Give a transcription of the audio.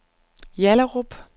Hjallerup